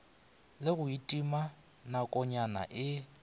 le go itima nakonyana e